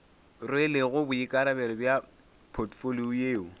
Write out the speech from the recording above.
rwelego boikarabelo bja potfolio yeo